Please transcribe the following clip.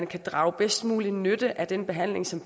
kan drage bedst mulig nytte af den behandling som